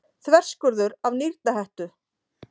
Þverskurður af nýrnahettu.